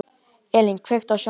Elína, kveiktu á sjónvarpinu.